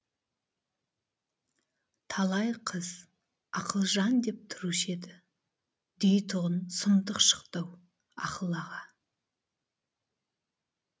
талай қыз ақылжан деп тұрушы еді дейтұғын сұмдық шықты ау ақыл аға